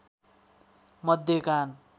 मध्य कान